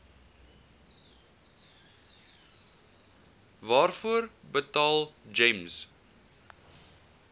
waarvoor betaal gems